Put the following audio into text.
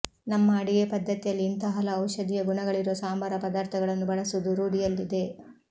ನಮ್ಮ ಅಡಿಗೆ ಪದ್ಧತಿಯಲ್ಲಿ ಇಂತಹ ಹಲವು ಔಷಧೀಯ ಗುಣಗಳಿರುವ ಸಂಬಾರ ಪದಾರ್ಥಗಳನ್ನು ಬಳಸುವುದು ರೂಢಿಯಲ್ಲಿದೆ